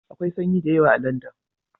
Akwai sanyi da yawa a Landan